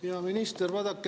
Hea minister!